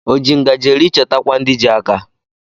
O ji ngajị eri chetakwa ndị ji aka